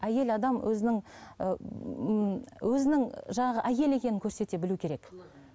әйел адам өзінің ііі өзінің жаңағы әйел екенін көрсете білуі керек